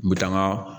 N bɛ taa n ka